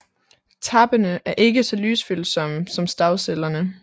Tappene er ikke så lysfølsomme som stavcellerne